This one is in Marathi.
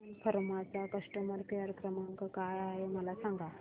सन फार्मा चा कस्टमर केअर क्रमांक काय आहे मला सांगा